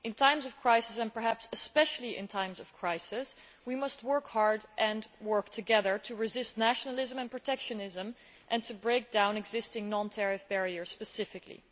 In times of crisis and perhaps especially in times of crisis we must work hard and work together to resist nationalism and protectionism and to break down existing non tariff barriers specifically.